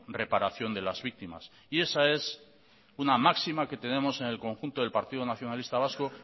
reparación de las víctimas esa es una máxima que tenemos en el conjunto del partido nacionalista vasco